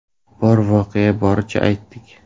– Bor voqeani boricha aytdik.